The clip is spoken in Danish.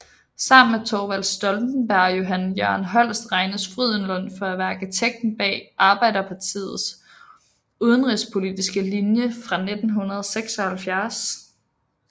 Sammen med Thorvald Stoltenberg og Johan Jørgen Holst regnes Frydenlund for at være arkitekten bag Arbeiderpartiets udenrigspolitiske linje fra 1976